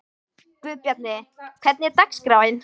Guðbjarni, hvernig er dagskráin?